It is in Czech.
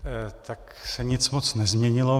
Tak se nic moc nezměnilo.